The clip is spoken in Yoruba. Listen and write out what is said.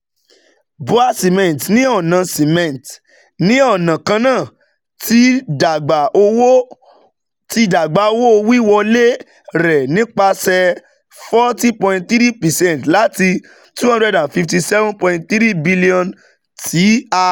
BUA Cement ni ọna Cement ni ọna kanna ti dagba owo-wiwọle rẹ nipasẹ forty point three percent lati N two hundred fifty seven point three bilionu ti a